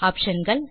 option கள்